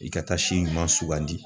I ka taa si ɲuman sugandi